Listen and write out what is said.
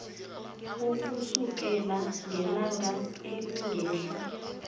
ukusukela ngelanga elingehla